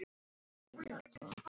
Lífið var gott.